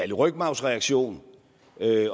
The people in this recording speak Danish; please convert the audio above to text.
det rygmarvsreaktion